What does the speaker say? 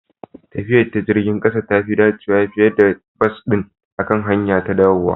Tafiya ta jirgin ƙasa tafi dacewa fiye da bas ɗin akan hanyara ta dawowa